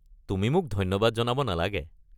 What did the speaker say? তুমি মোক ধন্যবাদ জনাব নালাগে।